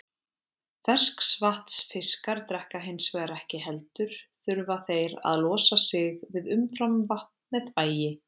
Ferskvatnsfiskar drekka hins vegar ekki heldur þurfa þeir að losa sig við umframvatn með þvagi.